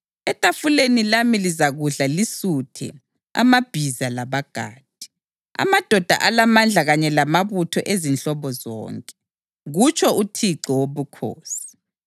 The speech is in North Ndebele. Etafuleni lami lizakudla lisuthe amabhiza labagadi, amadoda alamandla kanye lamabutho ezinhlobo zonke,’ ” kutsho uThixo Wobukhosi.